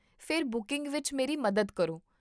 ਫਿਰ ਬੁਕਿੰਗ ਵਿੱਚ ਮੇਰੀ ਮਦਦ ਕਰੋ